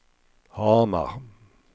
Hamar